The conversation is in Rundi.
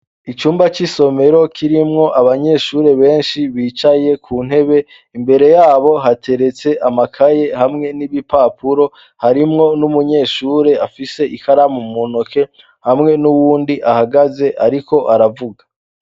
Icumba c'isomero kirimwo abanyeshure benshi bicaye ku ntebe imbere yabo hateretse amakaye hamwe n'ibi papuro harimwo n'umunyeshure afise ikaramu munoke hamwe n'uwundi ahagaze, ariko aravuga.